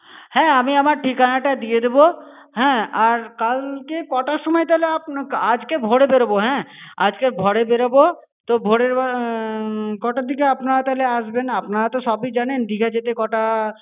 হ্যাঁ, আমি আমার ঠিকানা টা দিয়ে দেবো। হ্যাঁ, আর কালকে কটার সময় তাহলে আপনা~ আজ কে ভোরে বেরোবো। হ্যাঁ, আজ কে ভোরে বেরোবো। তো ভোরে~ উম কটার দিকে আপনারা তাহলে আসবেন? আপনারা তো সবই জানেন। দিঘা যেতে কটা।